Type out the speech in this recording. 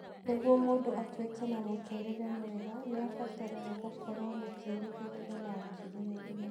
Nĩguo mũndũ atuĩke na mũtũũrĩre mwega nĩ abataraga gũkorũo na kĩĩrĩgĩrĩro na ũkirĩrĩria.